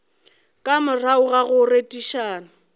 ka morago ga go rerišana